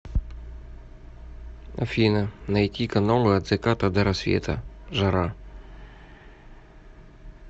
афина найти каналы от заката до рассвета жара